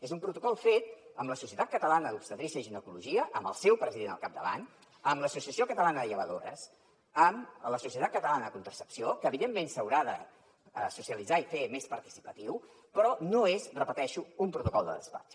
és un protocol fet amb la societat catalana d’obstetrícia i ginecologia amb el seu president al capdavant amb l’associació catalana de llevadores amb la societat catalana de contracepció que evidentment s’haurà de socialitzar i fer més participatiu però no és ho repeteixo un protocol de despatx